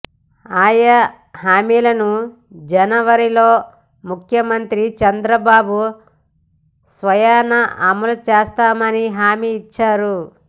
ఆయా హామీలను జనవరిలో ముఖ్యమంత్రి చంద్రబాబు స్వయానా అమలు చేస్తామని హామీ ఇచ్చారు